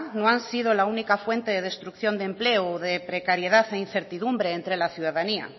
no han sido la única fuente de destrucción de empleo o de precariedad e incertidumbre entre la ciudadanía